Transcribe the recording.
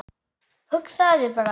Hugsaðu þér bara!